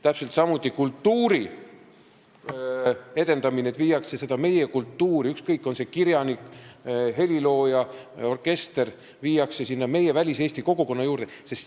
Täpselt samuti kultuuri edendamine, kui viiakse meie kultuuriinimesi – ükskõik, on need kirjanikud, heliloojad või orkestrandid – väliseesti kogukonna juurde.